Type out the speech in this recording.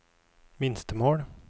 minstemål